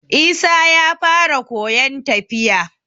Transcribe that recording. Isa ya fara koyon tafiya